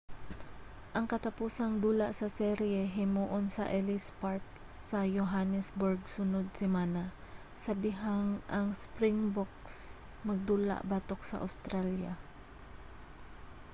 ang katapusang dula sa serye himuon sa ellis park sa johannesburg sunod semana sa dihang ang springboks magdula batok sa australia